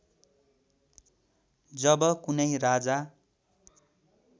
जब कुनै राजा